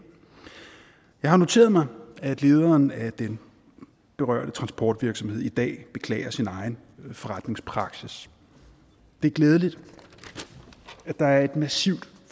jeg har noteret mig at lederen af den berørte transportvirksomhed i dag beklager sin egen forretningspraksis det er glædeligt at der er et massivt